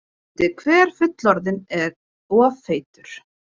Tíundi hver fullorðinn of feitur